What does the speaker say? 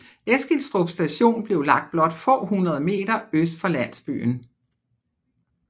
Eskilstrup station blev lagt blot få hundrede meter øst for landsbyen